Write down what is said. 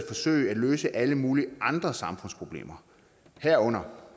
forsøge at løse alle mulige andre samfundsproblemer herunder